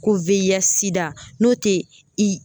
Ko n'o te i